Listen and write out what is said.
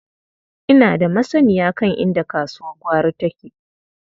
Ina da masanniya kan inda kasuwar gwari take.